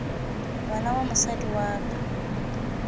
ngwana wa mosadi wa ka